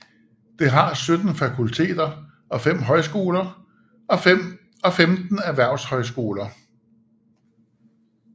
Det har 17 fakulteter og fem højskoler og 15 erhvervshøjskoler